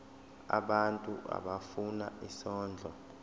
abantu abafuna isondlo